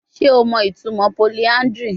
Ṣe o mọ itumọ polyandry?